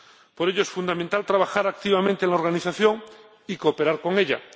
Por ello, es fundamental trabajar activamente en la organización y cooperar con ella.